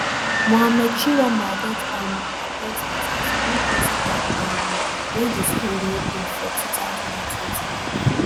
muhammad chiroma get um appointment as di new principal um wen di school reopen for two thousand and twenty-one.